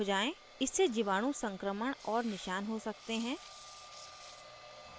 इससे जीवाणु संक्रमण और निशान हो सकते हैं